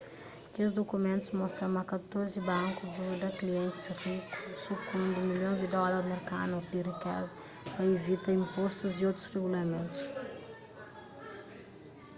kes dukumentus mostra ma katorzi banku djuda klientis riku sukundi milhons di dólar merkanu di rikeza pa ivita inpostu y otus regulamentus